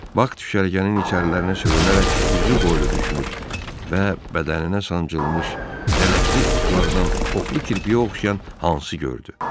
Bak düşərgənin içərilərinə sürünərək üzü qoylu düşmüş və bədəninə sancılmış lələkli oxlardan oxlu kirpiyə oxşayan hansısa gördü.